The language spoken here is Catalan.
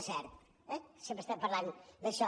és cert eh sempre estem parlant d’això